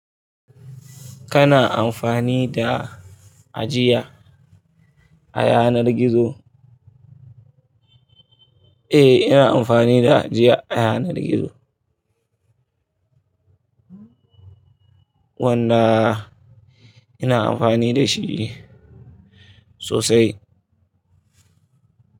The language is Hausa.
Kana amfani da ajiya a yanar gizo? Eh, ina amfani da ajiya a yanar gizo. Wanda ina amfani da shi ne sosai.